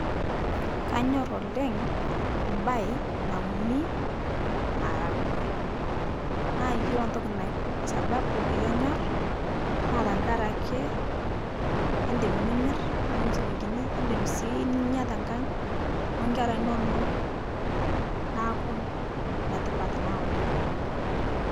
Kanyor oleng' baye nauni maragwe, naa yuolo ntoki nak sababu paye aanyor naa ntakare ake idim nimir nitum silinkini, nidim sii ninya te kang' onkera inono naaku netipat naa oleng'.